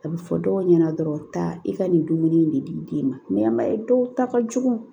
A bɛ fɔ dɔw ɲɛna dɔrɔn taa i ka nin dumuni in de d'i den ma dɔw ta ka jugu